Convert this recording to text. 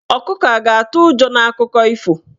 Ọkụkọ a ga-atụ ụjọ n'akụkọ ifo?